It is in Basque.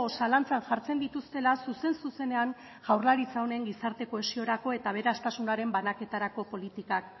zalantzan jartzen dituztela zuzen zuzenean jaurlaritza honen gizarte kohesiorako eta aberastasunaren banaketarako politikak